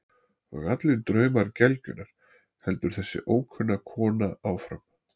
Og allir draumar gelgjunnar, heldur þessi ókunna kona áfram.